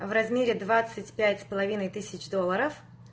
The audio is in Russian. в размере двадцать пять с половиной тысяч долларов